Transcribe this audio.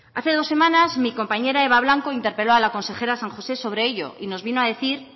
hace dos semanas mi compañera eva blanco interpeló a la consejera san josé sobre ello y nos vino a decir